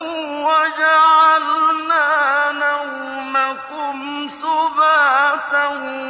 وَجَعَلْنَا نَوْمَكُمْ سُبَاتًا